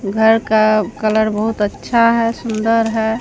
घर का कलर बहुत अच्छा है सुंदर है।